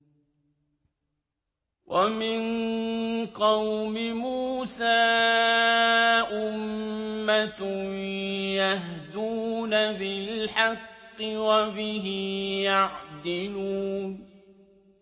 وَمِن قَوْمِ مُوسَىٰ أُمَّةٌ يَهْدُونَ بِالْحَقِّ وَبِهِ يَعْدِلُونَ